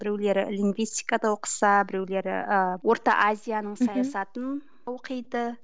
біреулері лингвистикада оқыса біреулері ііі орта азияның саясатын оқиды